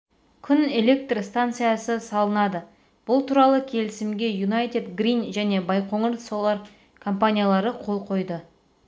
күн электр станциясы салынады бұл туралы келісімге юнайтед грин және байқоңыр солар компаниялары қол қойды